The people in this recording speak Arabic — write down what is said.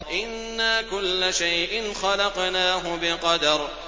إِنَّا كُلَّ شَيْءٍ خَلَقْنَاهُ بِقَدَرٍ